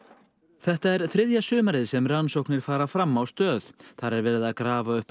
þetta er þriðja sumarið sem rannsóknir fara fram á Stöð þar er verið að grafa upp